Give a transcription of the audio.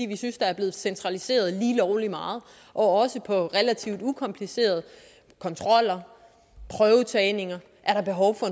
vi synes der er blevet centraliseret lige lovlig meget også hvad angår relativt ukomplicerede kontroller og prøvetagninger er der behov for